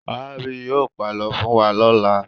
Màámi yóò pàlọ́ fún wa lọ́la.